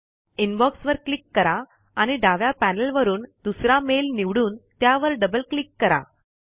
inbox वर click करा आणि डाव्या पैनल वरून दुसरा मेल निवडून त्यावर डबल क्लिक करा